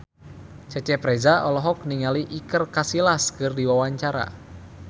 Cecep Reza olohok ningali Iker Casillas keur diwawancara